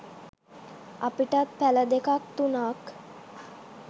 අපිටත් පැල දෙකක් තුනක්